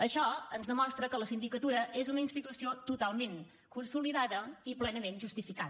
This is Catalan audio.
això ens demostra que la sindicatura és una institució totalment consolidada i plenament justificada